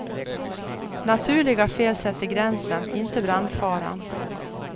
Naturliga fel sätter gränsen, inte brandfaran.